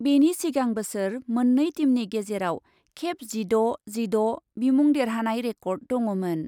बेनि सिगां बेसोर मोननै टिमनि गेजेराव खेब जिद' जिद' बिमुं देरहानाय रेकर्ड दङमोन।